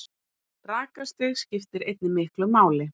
Rakastig skiptir einnig miklu máli.